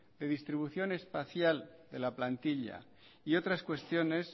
de distribución espacial de la plantilla y otras cuestiones